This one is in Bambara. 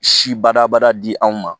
Si badabada di anw ma